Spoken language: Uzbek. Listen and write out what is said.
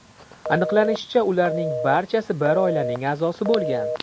Aniqlanishicha, ularning barchasi bir oilaning a’zosi bo‘lgan.